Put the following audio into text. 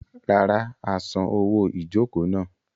Rárá, a san owó ìjokòó náà.